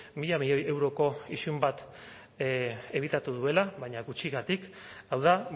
mila milioi euroko isun bat ebitatu duela baina gutxigatik hau da